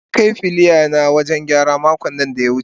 na Kai filaya na wajen gyara makon da ya wuce.